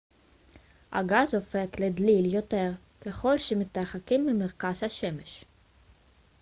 הגז הופך לדליל יותר ככל שמתרחקים ממרכז השמש